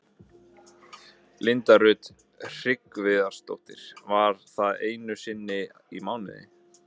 Linda Rut Hreggviðsdóttir: Var það einu sinni í mánuði?